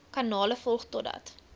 kanale volg totdat